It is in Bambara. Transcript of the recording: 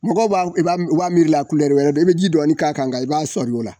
Mɔgɔw b'a i b'a m u b'a miirila wɛrɛ de i be ji dɔɔni k'a kan nka i b'a sɔŋi o la